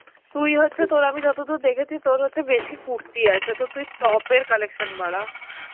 তুই হচ্ছে তোর আমি যতদূর দেখেছি তোর হচ্ছে বেশি কুর্তি আছে তো তুই top এর কালেকশন বারা.